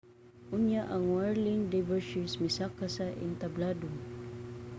unya ang whirling dervishes misaka sa entablado